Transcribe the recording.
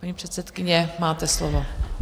Paní předsedkyně, máte slovo.